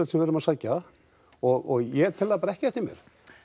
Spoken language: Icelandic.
sem við erum að sækja og ég tel það bara ekki eftir mér